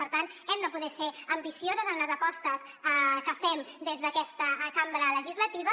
per tant hem de poder ser ambicioses en les apostes que fem des d’aquesta cambra legislativa